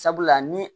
Sabula ni